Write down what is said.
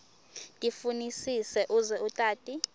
tifunisise uze utati